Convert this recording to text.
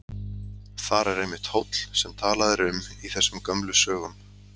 Þar er einmitt hóll sem talað er um í þessum gömlu sögum.